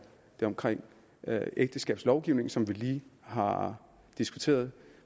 omkring ægteskabslovgivningen som vi lige har diskuteret